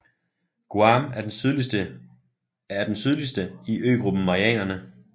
Guam er den sydligste i øgruppen Marianerne